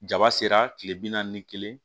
Jaba sera kile bi naani ni kelen